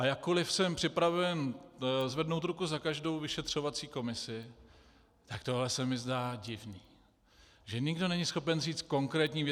A jakkoliv jsem připraven zvednout ruku za každou vyšetřovací komisi, tak tohle se mi zdá divné, že nikdo není schopen říct konkrétní věc.